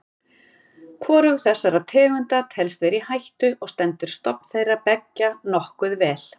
Hvorug þessara tegunda telst vera í hættu og stendur stofn þeirra beggja nokkuð vel.